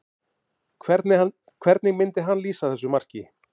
Hvernig myndi hann lýsa þessu marki?